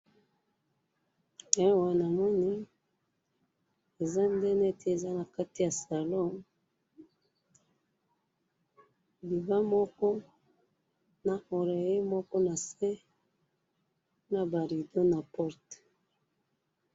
awa namoni eza nde neti eza nakati ya salon divan moko na oreillet moko nase naba rido na porte.